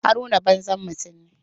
Haruna banzan mutum ne.